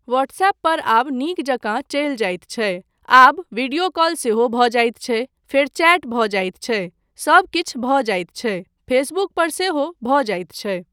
WhatsApp पर आब नीक जकाँ चलि जाइत छै, आब विडियो कॉल सेहो भऽ जाइत छै, फेर चैट भऽ जाइत छै, सबकिछु भऽ जाइत छै फेसबुक पर सेहो भऽ जाइत छै।